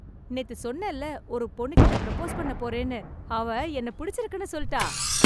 நேத்து சொன்னேன்ல ஒரு பொண்ணுகிட்ட ப்ரோபோஸ் பண்ண போறேன்னு அவ என்ன பிடிச்சிருக்கனு சொல்டா